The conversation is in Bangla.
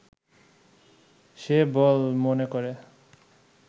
সে বল মনে করে